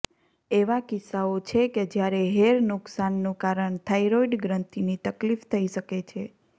એવા કિસ્સાઓ છે કે જ્યારે હેર નુકશાનનું કારણ થાઇરોઇડ ગ્રંથિની તકલીફ થઈ શકે છે